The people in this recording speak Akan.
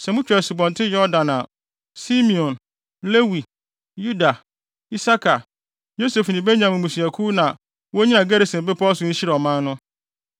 Sɛ mutwa Asubɔnten Yordan a Simeon, Lewi, Yuda, Isakar, Yosef ne Benyamin mmusuakuw na wonnyina Gerisim bepɔw so nhyira ɔman no.